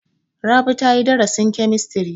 Rabi ta yi darasin kemistiri.